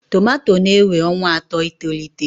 Tomato na-ewe ọnwa atọ itolite.